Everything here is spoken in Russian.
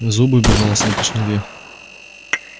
зубы безжалостно уточнил я